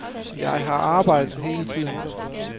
Jeg har arbejdet hele tiden.